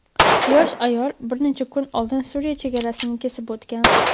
yosh ayol bir necha kun oldin Suriya chegarasini kesib o‘tgan.